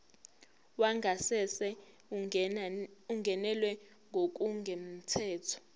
wangasese ungenelwe ngokungemthetho